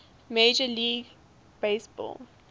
major league baseball